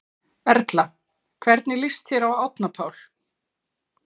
Erla: Hvernig líst þér á Árna Pál?